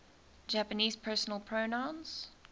japanese personal pronouns